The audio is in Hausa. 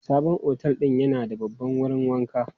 Sabon otel din yana da babban wurin wanka.